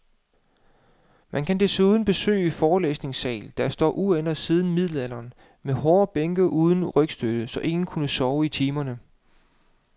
Man kan desuden besøge forelæsningssale, der står uændret siden middelalderen, med hårde bænke uden rygstød, så ingen kunne sove i timerne.